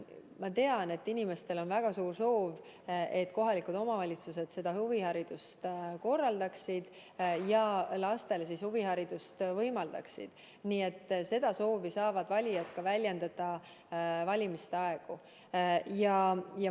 Ma tean, et inimestel on väga suur soov, et kohalikud omavalitsused huviharidust korraldaksid ja lastele huviharidust võimaldaksid, nii et seda soovi saavad valijad valimiste ajal ka väljendada.